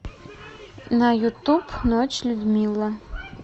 на ютуб ночь людмила